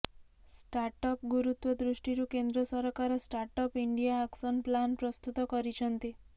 ଷ୍ଟାର୍ଟଅପ୍ର ଗୁରୁତ୍ୱ ଦୃଷ୍ଟିରୁ କେନ୍ଦ୍ର ସରକାର ଷ୍ଟାର୍ଟଅପ୍ ଇଣ୍ଡିଆ ଆକ୍ସନ୍ ପ୍ଲାନ୍ ପ୍ରସ୍ତୁତ କରିଛନ୍ତି